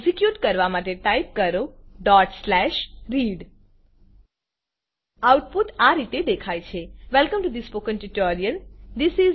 execute કરવા માટે type કરો read આઉટપુટ આ રીતે દેખાય છે welcome to the spoken tutorial